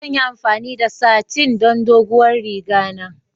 Zan yi amfani da satin don doguwar riga na.